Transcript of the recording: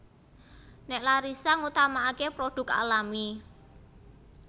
Nek Larissa ngutamaake produk alami